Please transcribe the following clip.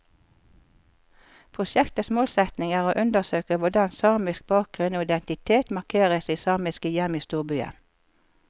Prosjektets målsetning er å undersøke hvordan samisk bakgrunn og identitet markeres i samiske hjem i storbyen.